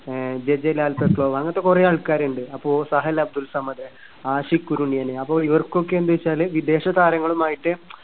ആഹ് അങ്ങനത്തെ കുറെ ആൾക്കാരുണ്ട്. അപ്പോ സഹൽ അബ്‌ദുൾ സമദ്, ആഷിഖ് കുറുനിയന് അത് ഇവർക്കൊക്കെ എന്താവെച്ചാല് വിദേശതാരങ്ങളുമായിട്ട്